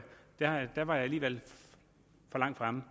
der var jeg alligevel for langt fremme